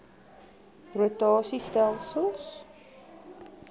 rota sie stelsels